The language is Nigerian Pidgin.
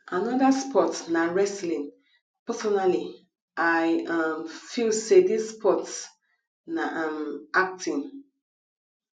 another sports na wrestling personally i um feel say this sports na um acting